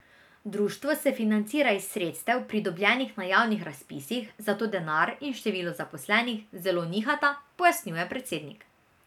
Društvo se financira iz sredstev, pridobljenih na javnih razpisih, zato denar in število zaposlenih zelo nihata, pojasnjuje predsednik.